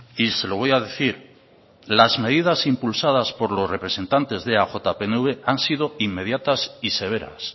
y se lo voy a decir las medidas impulsadas por los representantes de eaj pnv han sido inmediatas y severas